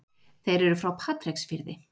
Þeir eru frá Patreksfirði.